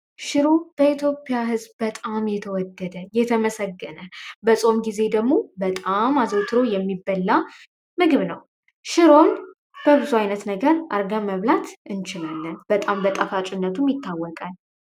ሽሮ በኢትዮጵያ ህዝብ በጣም የተወደደ ፣የተመሰገነ በጾም ጊዜ ደግሞ በጣም አዘውትሮ የሚበላ ምግብ ነው። ሽሮም በብዙ ዓይነት ነገር አርጋ መብላት እንችልልን በጣም በጣፋጭነቱም ይታወቃል።